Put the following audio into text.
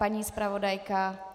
Paní zpravodajka?